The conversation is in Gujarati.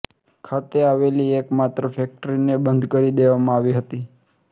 ખાતે આવેલી એકમાત્ર ફેક્ટરીને બંધ કરી દેવામાં આવી હતી